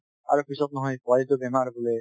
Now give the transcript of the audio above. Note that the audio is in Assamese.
আৰু পিছত নহয় পোৱালিটোৰ বেমাৰ বোলে